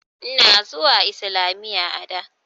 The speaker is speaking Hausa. Ina zuwa islamiyya a da.